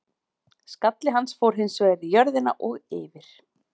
Skalli hans fór hins vegar í jörðina og yfir.